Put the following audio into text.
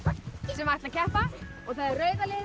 sem ætla að keppa það er rauða liðið